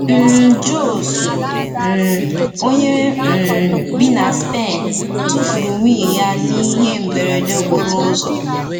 um José, um onye um bi na Spen, tufuru nwunye ya n’ihe mberede okporo ụzọ.